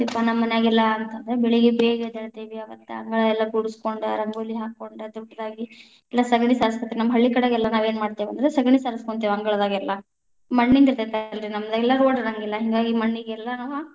ನಮ್ಮ ಮನ್ಯಾಗೆಲ್ಲ ಅಂತ ಅಂದ್ರ ಬೆಳಿಗ್ಗೆ ಬೇಗ ಎದ್ದೇಳತೇವಿ ಅವತ್ತ ಅಂಗಳ ಎಲ್ಲಾ ಗುಡಿಸಕೊಂಡ ರಂಗೋಲಿ ಹಾಕೊಂಡ ದೊಡ್ಡದಾಗಿ ಇಲ್ಲಾ ಸಗಣಿ ಸಾರಸಕೊತೇವಿ, ನಮ್ಮ ಹಳ್ಳಿಕಡೆಗೆಲ್ಲಾ ನಾವೇನ್‌ ಮಾಡ್ತೇವಿ ಅಂದ್ರ ಸಗಣಿ ಸಾರಸಕೊಂತಿವಿ ಅಂಗಳದಾಗೆಲ್ಲಾ, ಮಣ್ಣಿಂದಿತೇ೯ತಿ ನಮಗೆಲ್ಲಾ road ಇರೆಂಗಿಲ್ಲಾ ಹಿಂಗಾಗಿ ಮಣ್ಣಿಗೆಲ್ಲಾ ನಾವ್‌.